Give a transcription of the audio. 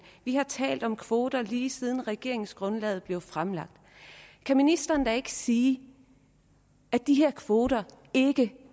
vi har talt om kvoter lige siden regeringsgrundlaget blev fremlagt kan ministeren da ikke sige at de her kvoter ikke